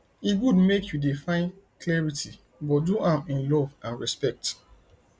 e good make you dey find clarity but do am in love and respect